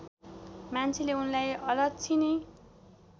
मान्छेले उनलाई अलच्छिनि